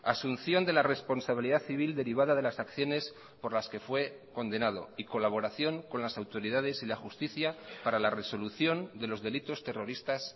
asunción de la responsabilidad civil derivada de las acciones por las que fue condenado y colaboración con las autoridades y la justicia para la resolución de los delitos terroristas